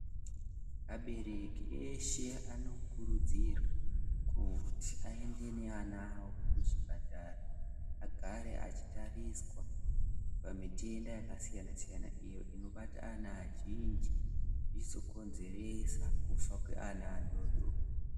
Abereki eshe anokurudzirwa kuti aende neana avo kuchipatara agare achitariswa pamitenda yakasiyana-siyana. Iyo inobata ana azhinji zviizokonzeresa kufa kweana adodori.